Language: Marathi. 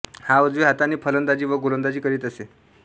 हा उजव्या हाताने फलंदाजी व गोलंदाजी करीत असे